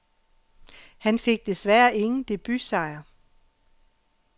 Han fik desværre ingen debutsejr.